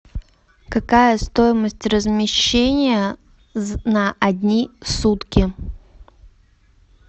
какая стоимость размещения на одни сутки